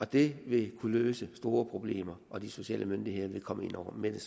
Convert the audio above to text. det vil kunne løse store problemer og de sociale myndigheder vil komme ind over med